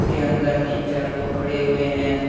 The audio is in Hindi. उसके अंदर तीन चार लोग खड़े हुए हैं।